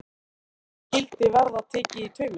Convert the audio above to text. Nú skyldi verða tekið í taumana, ef.